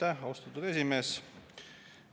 Aitäh, austatud esimees!